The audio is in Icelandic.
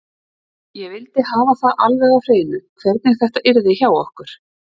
Ég vildi hafa það alveg á hreinu hvernig þetta yrði hjá okkur.